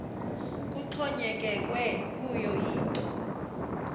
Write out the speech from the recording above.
kuxhonyekekwe kuyo yinto